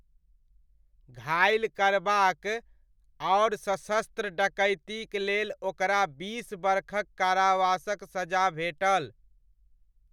घाइल करबाक आओर सशस्त्र डकैतीक लेल ओकरा बीस बरखक कारावासक सजा भेटल।